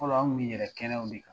Tuma dɔw an tun bɛ yɛlɛn kɛnɛw de kan